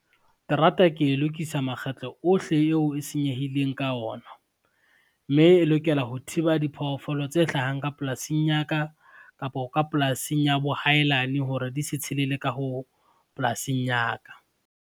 Terata ke e lokisa makgetlo ohle yeo e senyehileng ka ona, mme e lokela ho thiba diphoofolo tse hlahang ka polasing ya ka, kapo ka polasing ya bo hailane hore di se tshelele ka ho polasing ya ka.